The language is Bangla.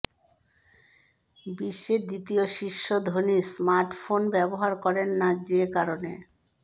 বিশ্বের দ্বিতীয় শীর্ষ ধনী স্মার্টফোন ব্যবহার করেন না যে কারণে